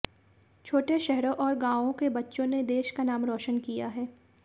छोटे शहरों और गांवों के बच्चों ने देश का नाम रोशन किया है